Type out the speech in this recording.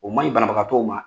O maɲi banabagatɔw ma